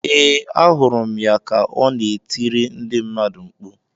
Ee, ahụrụ m ya ka ọ na-etiri ndị mmadụ mkpu.